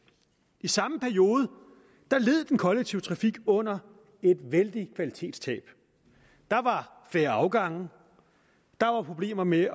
i samme periode led den kollektive trafik under et vældigt kvalitetstab der var færre afgange der var problemer med